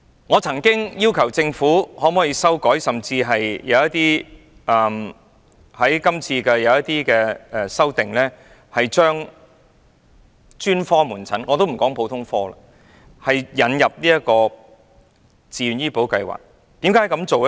我曾要求政府修改......我早前曾建議修訂《條例草案》，把專科門診——撇開普通科不談——納入自願醫保計劃的保障範圍。